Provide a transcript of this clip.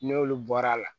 N'olu bɔra a la